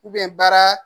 baara